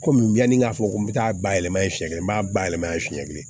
Komi yani k'a fɔ ko n bɛ taa bayɛlɛma yen fiyɛ n b'a bayɛlɛma yen fiɲɛ kelen